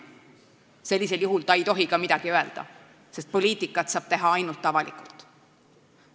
Sellisel juhul ei tohiks ta ka midagi öelda, sest poliitikat saab teha ainult avalikult.